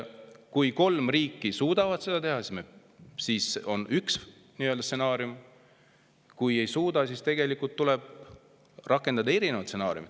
Kui kolm riiki suudavad seda teha, siis on üks stsenaarium, aga kui ei suuda, siis tuleb rakendada erinevat stsenaariumi.